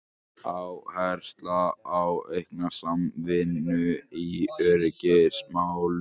Áhersla á aukna samvinnu í öryggismálum